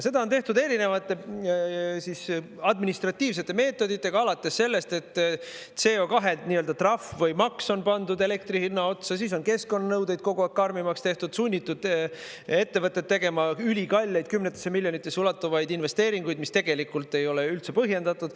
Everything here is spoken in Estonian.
Seda on tehtud erinevate administratiivsete meetoditega, alates sellest, et CO2 trahv või maks on pandud elektri hinna otsa, siis on keskkonnanõudeid kogu aeg karmimaks tehtud, sunnitud ettevõtteid tegema ülikalleid, kümnetesse miljonitesse ulatuvaid investeeringuid, mis tegelikult ei ole üldse põhjendatud.